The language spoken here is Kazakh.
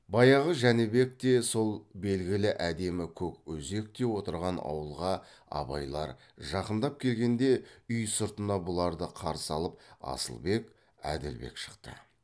баяғы жәнібекте сол белгілі әдемі көк өзекте отырған ауылға абайлар жақындап келгенде үй сыртына бұларды қарсы алып асылбек әділбек шықты